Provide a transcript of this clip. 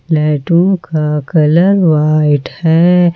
लाइटों का colour white है।